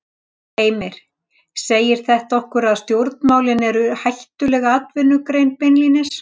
Heimir: Segir þetta okkur að stjórnmálin eru hættuleg atvinnugrein beinlínis?